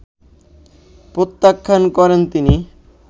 প্রত্যাখ্যান করেন তিনি